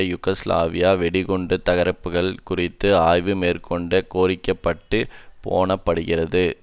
Yugoslavia வெடிகுண்டு தகர்ப்புகள் குறித்த ஆய்வும் மேற்கண்ட கோர்ப்பிடப்பட்டு போணப்படுகின்றது